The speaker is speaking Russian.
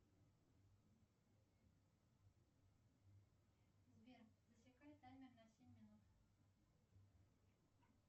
сбер засекай таймер на семь минут